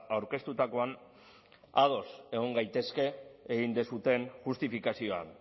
aurkeztutakoan ados egon gaitezke egin duzuen justifikazioan